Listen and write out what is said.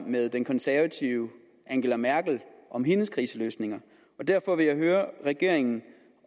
med den konservative angela merkel om hendes kriseløsninger derfor vil jeg høre regeringen